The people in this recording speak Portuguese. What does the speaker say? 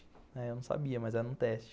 Eu não sabia, mas era um teste.